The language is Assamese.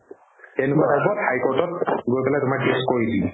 কেনেকুৱা type ত high court ত গৈ পেলাই তোমাৰ case কৰি দিলে